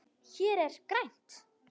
Hér er grænt.